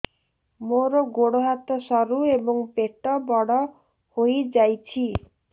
ମୋର ଗୋଡ ହାତ ସରୁ ଏବଂ ପେଟ ବଡ଼ ହୋଇଯାଇଛି